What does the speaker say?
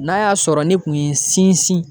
N'a y'a sɔrɔ ne kun ye n sinsin